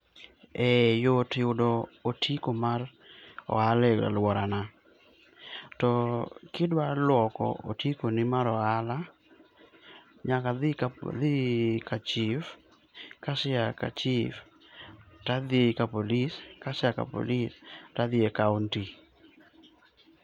Eh yot yudo otiko mar ohala e aluorana. To kidwa loko otiko ni mar ohala, nyaka adhi ka chif, kasea ka chif to adhi ka police. Ka asea ka police to adhi ne kaontik.